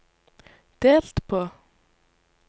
delt på